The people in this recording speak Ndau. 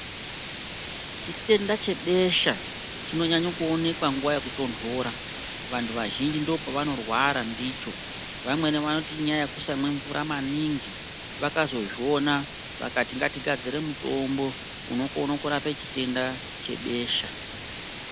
Chitenda chebesha chinonyanyo kuonekwa nguwa yekutondora, vantu vazhinji ndopavanorwara ndicho. Vamweni vanoti inyaya yekusamwe mvura maningi. Vakazozviona vakati ngatigadzire mutombo unokono kurape chitenda chebesha.